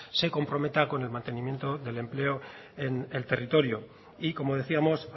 se comprometa con el mantenimiento del empleo en el territorio y como decíamos